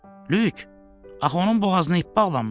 Lük, axı onun boğazına ip bağlanmışdı?